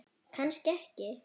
Kannski ekki.